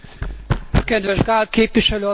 Kedves Gál képviselő asszony!